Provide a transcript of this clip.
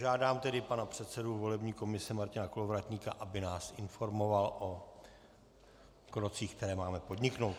Žádám tedy pan předsedu volební komise Martina Kolovratníka, aby nás informoval o krocích, které máme podniknout.